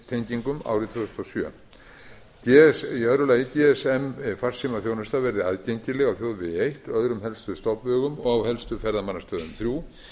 háhraðatengingum árið tvö þúsund og sjö önnur gsm farsímaþjónusta verði aðgengileg á þjóðvegi eitt öðrum helstu stofnvegum og á helstu ferðamannastöðum þriðja